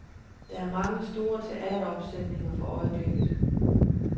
Der er mange store teateropsætninger for øjeblikket.